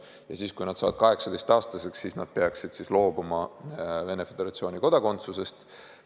Ja siis, kui nad saavad 18-aastaseks, nad peaksid loobuma Venemaa Föderatsiooni kodakondsusest.